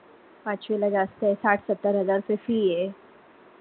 पाचवीला जास्त साठ सत्तर हजारा ते fee